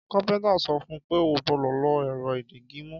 Kápéntà sọ fún pé ó gbódò lo èrọ ìdigimú